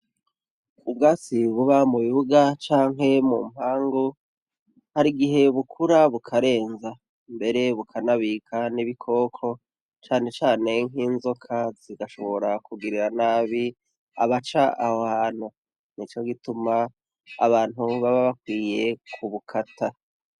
Ubwatsi buba mubibuga canke mumpangu hari igihe bukura bukarenza. mbere bukanabika nibikoko cane cane nkinzoka igashobora kugirira nabi abaca aho hantu nico gituma abantu baba bakwiye kubukata.